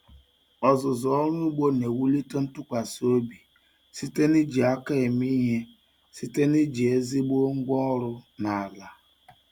Ọzụzụ ọrụ ugbo na-ewulite ntụkwasị obi site n'iji aka eme ihe site na iji ezigbo ngwa ọrụ na ala.